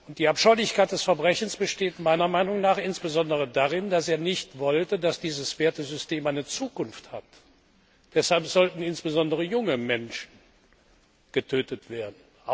Die Abscheulichkeit des Verbrechens besteht meiner Meinung nach insbesondere darin, dass er nicht wollte, dass dieses Wertesystem eine Zukunft hat, deshalb sollten insbesondere junge Menschen getötet werden.